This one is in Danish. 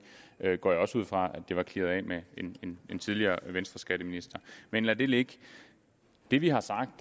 jeg går ud fra at det var clearet af med en tidligere venstreskatteminister men lad det ligge det vi har sagt